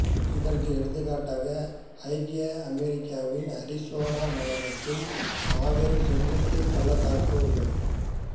இதற்கு எடுத்துக்காட்டாக ஐக்கிய அமெரிக்காவின் அரிசோனா மாநிலத்தின் மாபெரும் செங்குத்துப் பள்ளத்தாக்கு உள்ளது